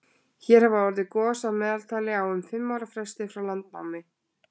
hér hafa orðið gos að meðaltali á um fimm ára fresti frá landnámi